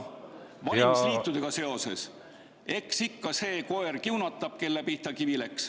Valimisliitudega seoses: eks ikka see koer kiunatab, kelle pihta kivi läks.